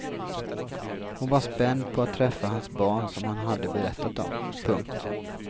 Hon var spänd på att träffa hans barn som han hade berättat om. punkt